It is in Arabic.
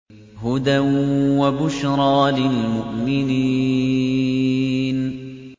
هُدًى وَبُشْرَىٰ لِلْمُؤْمِنِينَ